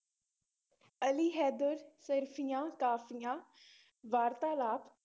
ਅਲੀ ਹੈਦਰ, ਸੀਹਰਫ਼ੀਆਂ, ਕਾਫ਼ੀਆਂ ਵਾਰਤਾਲਾਪ